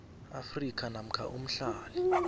afrika namkha umhlali